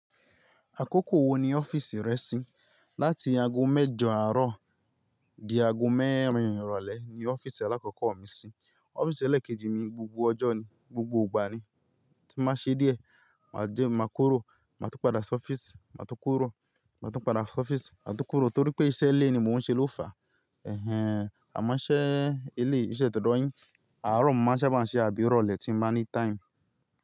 Àkókò wo ni ọ́fíìsì rẹ ṣí? Lati ago mẹ́jọ àárọ̀ di ago mẹ́rin ìrọ̀lẹ́ ni ọ́fíìsì alákọ̀ọ́kọ̀ mi ṣí. Ọ́fíìsì ẹlẹ́kẹ́jì mi gbogbo ọjọ́ ni, gbogbo ìgbà ni. Tí n bá ṣe díẹ̀, má jẹ́ má kúrò, má tún padà sí ọ́fíìsì, má tún kúrò, má tún padà sí ọ́fíìsì, má tún kúrò torí pé iṣẹ́ ilé ni mò ń ṣe ló fà. Ẹ̀hẹn, àmọ́ iṣẹ́ eleyi, iṣẹ́ tò dọ̀ yín. Àárọ̀ mo maa ṣa bá ń ṣe àbí ìrọ̀lẹ́ tí ń bá ní time.